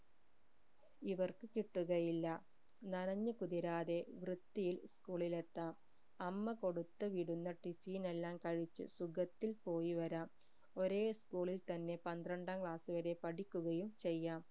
ഇവർക്ക് കിട്ടുകയില്ല നനഞു കുതിരാതെ വൃത്തിയിൽ school ഇൽ എത്താം 'അമ്മ കൊടുത്ത് വിടുന്ന tiffin എല്ലാം കഴിച്ചു സുഖത്തിൽ പോയി വരാം ഒരേ school ൽ തന്നെ പന്ത്രണ്ടാം class വരെ പഠിക്കുകയും ചെയ്യാം